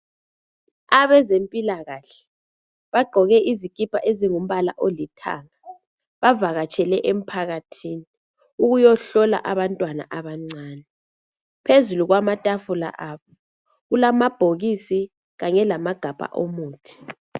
Abezempilakahle bagqoke izikipa ezilombala olithanga bavakatshele emphakathini ukuyahlola abantwana abancane. Phezulu kwamatafula abo kulamabhokisi kanye lamagabha omuthi.